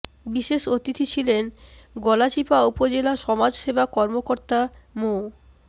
বিশেষ অতিথি ছিলেন গলাচিপা উপজেলা সমাজ সেবা কর্মকর্তা মো